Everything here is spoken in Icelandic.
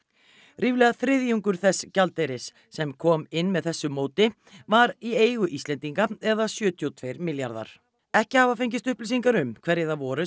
ríflega þriðjungur þess gjaldeyris sem kom inn með þessu móti var í eigu Íslendinga eða sjötíu og tveir milljarðar ekki hafa fengist upplýsingar um hverjir það voru